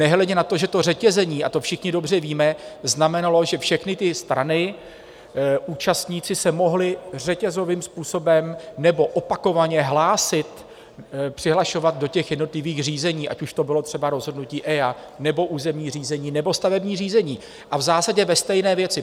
Nehledě na to, že to řetězení - a to všichni dobře víme - znamenalo, že všechny ty strany - účastníci se mohli řetězovým způsobem nebo opakovaně hlásit, přihlašovat do těch jednotlivých řízení, ať už to bylo třeba rozhodnutí EIA, nebo územní řízení, nebo stavební řízení, a v zásadě ve stejné věci.